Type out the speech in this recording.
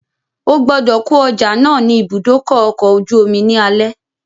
Ogbọ́dọ̀ kó ọjà náà ni ìbúdókọ̀ ọ̀kọ̀ ojú omi ní alẹ́